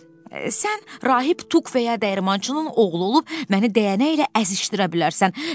Sən rahib Tuq və ya dəyirmançının oğlu olub məni dəyənəklə əzişdirə bilərsən.